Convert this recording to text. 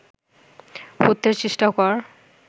হত্যার চেষ্টা কর